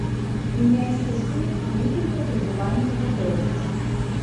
меня интересует длительное пребывание в отеле